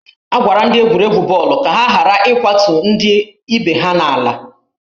A gwara ndị egwuregwu bọọlụ ka ha ghara ịkwatu ndị otù ha n'ala